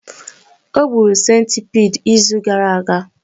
O gburu centipede izu gara aga